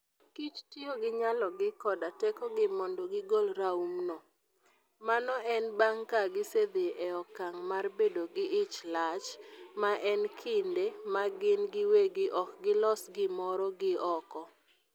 kich tiyo gi nyalogi koda tekogi mondo gigol raumno. Mano en bang' ka gisedhi e okang' mar bedo gi ich lach, ma en kinde ma gin giwegi ok gilos gimoro gi oko.